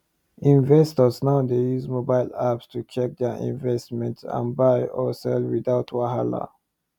investors now dey use mobile apps to check their investment and buy or sell without wahala